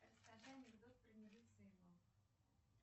расскажи анекдот про медицину